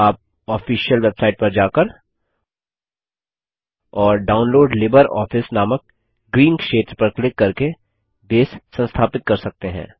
आप official website पर जाकर और डाउनलोड लिब्रियोफिस नामक ग्रीन क्षेत्र पर क्लिक करके बेस संस्थापित कर सकते हैं